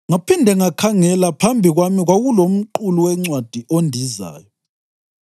Ngaphinde ngakhangela, phambi kwami kwakulomqulu wencwadi ondizayo!